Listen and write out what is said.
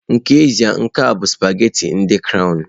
N'ezie, nke a bụ sụpaghetị ndị crọwnu.